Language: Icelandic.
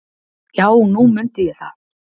"""Já, nú mundi ég það."""